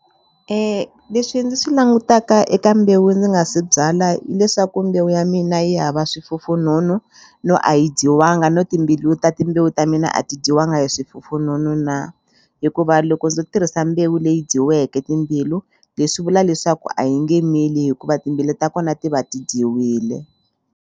leswi ndzi swi langutaka eka mbewu ndzi nga se byala hileswaku mbewu ya mina yi hava swifufunhunhu no a yi dyiwanga no timbilu ta timbewu ta mina a ti dyiwanga hi swifufununu na hikuva loko ndzo tirhisa mbewu leyi dyiweke timbilu leswi vula leswaku a yi nge mili hikuva timbilu ta kona ti va ti dyiwile.